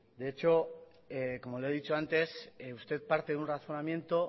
de hecho como le he dicho antes usted parte de un razonamiento